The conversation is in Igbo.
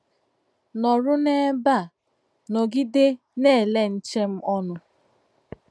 Nọ̀rụ̀ n’ebè a, nọ̀gidé nà-èlé nche m ònụ̀.